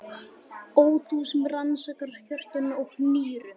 Ó þú sem rannsakar hjörtun og nýrun.